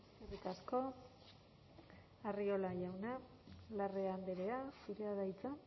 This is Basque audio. eskerrik asko arriola jauna larrea andrea zurea da hitza